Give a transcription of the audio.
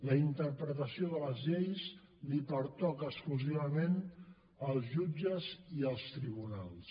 la interpretació de les lleis els pertoca exclusivament als jutges i als tribunals